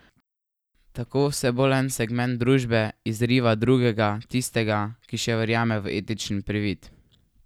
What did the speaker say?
Tako vse bolj en segment družbe izriva drugega, tistega, ki še verjame v etični privid.